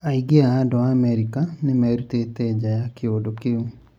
Aingĩ a andũ ma Amerika nĩmerũtĩte nja na kĩũndũ kĩũ